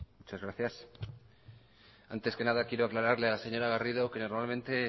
muchas gracias antes que nada quiero aclararle a laseñora garrido que normalmente